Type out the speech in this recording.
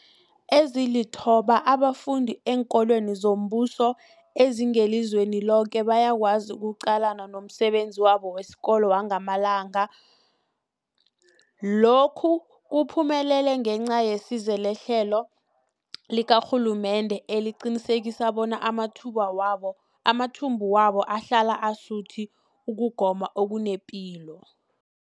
Ezilithoba abafunda eenkolweni zombuso ezingelizweni loke bayakwazi ukuqalana nomsebenzi wabo wesikolo wangamalanga. Lokhu kuphumelele ngenca yesizo lehlelo likarhulumende eliqinisekisa bona amathumbu wabo amathumbu wabo ahlala asuthi ukugoma okunepilo.